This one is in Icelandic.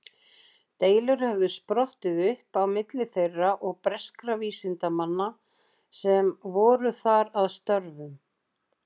Deilur höfðu sprottið upp á milli þeirra og breskra vísindamanna sem voru þar að störfum.